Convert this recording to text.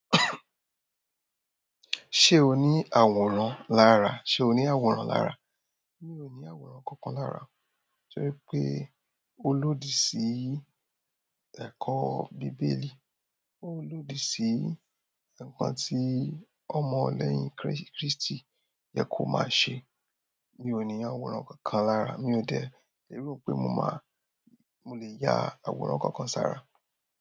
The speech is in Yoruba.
Ṣé o ní àwòrán lára? Ṣé o ní àwòrán lára? Mi ò ní àwòrán kankan lára. Torí pé ó lòdì sí ẹ̀kọ́ bíbélì. Ó lòdì sí nǹkan tí ọmọ lẹ́yìn Kristi yẹ kó máa ṣe. Mi ò ní àwòrán kankan lára. Mi ò dẹ̀ lérò pé mo máa, mo lè ya àwòrán kankan sára.